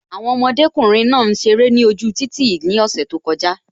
Àwọn ọmọdékùnrin náà ń ṣeré ni ojú títì ni ose tó kọjá